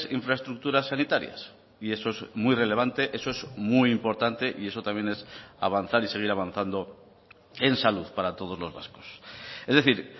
infraestructuras sanitarias y eso es muy relevante eso es muy importante y eso también es avanzar y seguir avanzando en salud para todos los vascos es decir